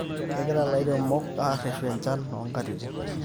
kegira ilairemok arreshu enchan o nkatitin